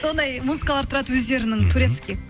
сондай музыкалар тұрады өздерінің турецкий